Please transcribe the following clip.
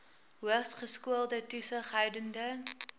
hoogs geskoolde toesighoudende